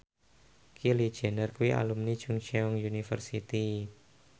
Kylie Jenner kuwi alumni Chungceong University